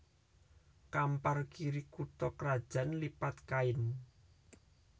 Kampar Kiri kutha krajan Lipat Kain